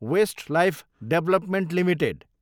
Westlife development Ltd